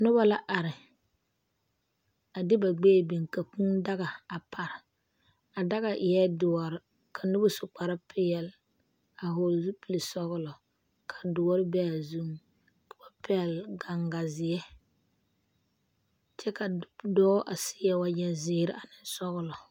Noba la are a de ba gbɛɛ biŋ ka kûû daga a pare a daga eɛ doɔre ka noba su kparre peɛle a vɔgele zupile sɔgelɔ ka dɔre be a zuŋ ka o pɛgele gaŋganzeɛ kyɛ ka dɔɔ seɛ wagye zeere ane sɔgelɔ